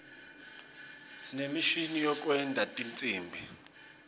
sinemishini yekwenta tinsimbi